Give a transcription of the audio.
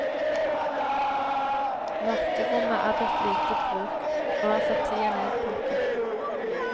Mørkerommet er blitt lite brukt, og er for tida nedpakket.